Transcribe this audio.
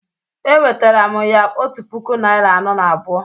Ewetara m ya otu puku naịra anọ na abụọ